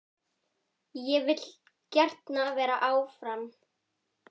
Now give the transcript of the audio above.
Ég vil gjarnan vera áfram.